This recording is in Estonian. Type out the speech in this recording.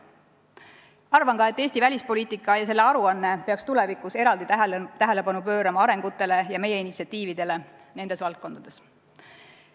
Arvan ka, et Eesti välispoliitika ja selle aruanne peaks tulevikus eraldi tähelepanu pöörama arengutele ja meie initsiatiividele nendes valdkondades.